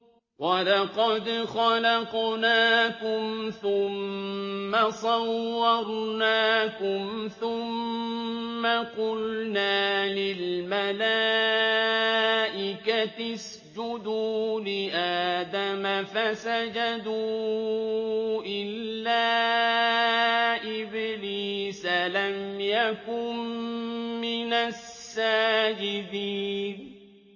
وَلَقَدْ خَلَقْنَاكُمْ ثُمَّ صَوَّرْنَاكُمْ ثُمَّ قُلْنَا لِلْمَلَائِكَةِ اسْجُدُوا لِآدَمَ فَسَجَدُوا إِلَّا إِبْلِيسَ لَمْ يَكُن مِّنَ السَّاجِدِينَ